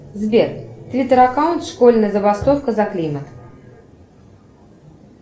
сбер твиттер аккаунт школьная забастовка за климат